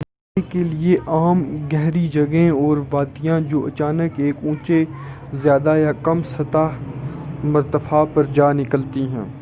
Norway کے لیے عام گہری جگہیں اور وادیاں جو اچانک ایک اونچے زیادہ یا کم سطح مرتفع پر جا نکلتی ہیں